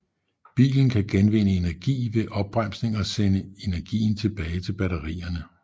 Bilen kan genvinde energi ved opbremsning og sende energien tilbage til batterierne